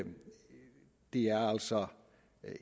altså